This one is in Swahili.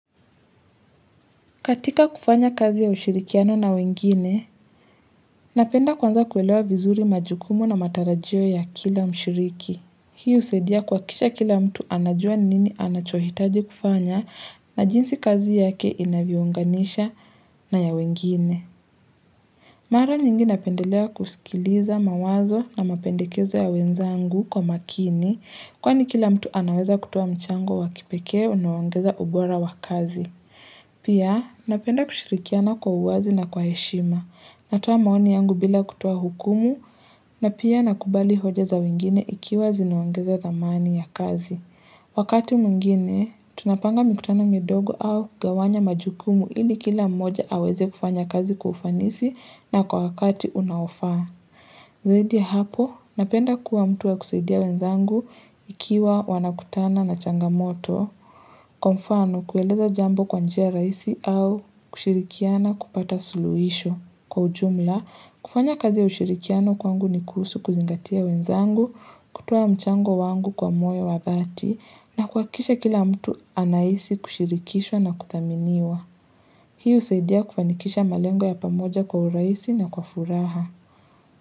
Katika kufanya kazi ya ushirikiano na wengine, napenda kwanza kuelewa vizuri majukumo na matarajio ya kila mshiriki. Hiu usaidia kuhakikisha kila mtu anajua nini anachohitaji kufanya na jinsi kazi yake inaviunganisha na ya wengine. Mara nyingi napendelea kusikiliza mawazo na mapendekezo ya wenzangu kwa makini kwani kila mtu anaweza kutoa mchango wakipeke unawangeza ubora wa kazi. Pia napenda kushirikiana kwa uwazi na kwa heshima Natuwa maoni yangu bila kutuwa hukumu na pia nakubali hoja za wengine ikiwa zinaongeza dhamani ya kazi Wakati mwingine, tunapanga mikutana midogo au kugawanya majukumu ili kila mmoja haweze kufanya kazi kwa ufanisi na kwa wakati unaofaa Zaidi hapo, napenda kuwa mtu ya kusaidia wenzangu Ikiwa wanakutana na changamoto Kwa mfano kueleza jambo kwa njia rahisi au kushirikiana kupata suluisho kwa ujumla, kufanya kazi ya ushirikiano kwangu ni kuhusu kuzingatia wenzangu, kutoa mchango wangu kwa moyo wa dhati na kuhakisha kila mtu anaisi kushirikishwa na kuthaminiwa Hiu usaidia kufanikisha malengo ya pamoja kwa urahisi na kwa furaha.